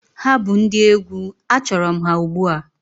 Ha bụ ndị egwu, achọrọ m ha ugbu a!